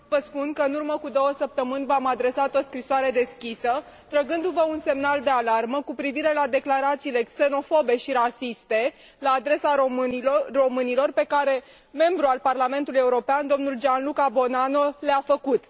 Domnule președinte, vă spun că, în urmă cu două săptămâni, v am adresat o scrisoare deschisă, trăgându vă un semnal de alarmă cu privire la declarațiile xenofobe și rasiste la adresa românilor pe care un membru al Parlamentului European, dl Gianluca Buonanno, le a făcut.